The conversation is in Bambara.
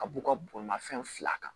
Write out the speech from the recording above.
Ka b'u ka bolimafɛn fila kan